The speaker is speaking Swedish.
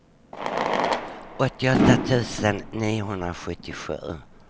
åttioåtta tusen niohundrasjuttiosju